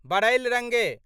Barail रंगे